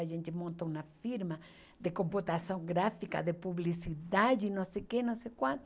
A gente monta uma firma de computação gráfica, de publicidade, não sei o quê, não sei quanto.